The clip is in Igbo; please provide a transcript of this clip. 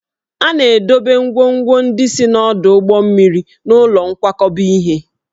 A na-edobe ngwongwo ndị si n'ọdụ ụgbọ mmiri n'ụlọ nkwakọba ihe